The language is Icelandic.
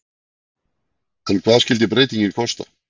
En hvað skyldi breytingin kosta?